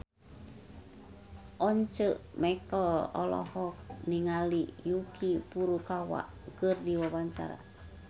Once Mekel olohok ningali Yuki Furukawa keur diwawancara